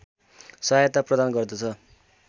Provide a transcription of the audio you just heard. सहायता प्रदान गर्दछ